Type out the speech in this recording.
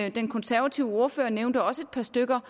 og den konsevative ordfører nævnte også et par stykker